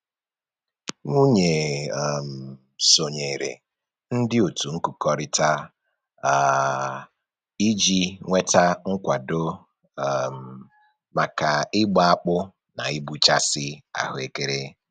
Nwunye um sonyere ndị otu nkụkọrịta um a iji nweta nkwado um maka ịgba akpụ na ịgbụchasị ahụekere